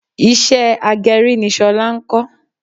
Iṣẹ́ agẹrí ni Ṣọlá ń kọ.